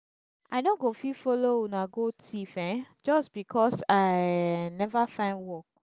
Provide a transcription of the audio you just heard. i no go fit follow una go thief um just because i um never find work